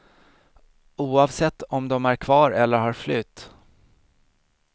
Oavsett om de är kvar eller har flytt.